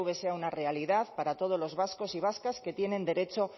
sea una realidad para todos los vascos y vascas que tienen derecho